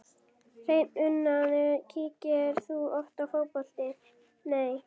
Hreinn unaður Kíkir þú oft á Fótbolti.net?